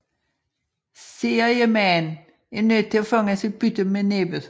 Seriemaen er nødt til at fange sit bytte med næbbet